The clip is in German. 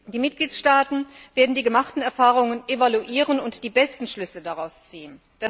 Die Mitgliedstaaten werden die gemachten Erfahrungen evaluieren und die besten Schlüsse daraus ziehen.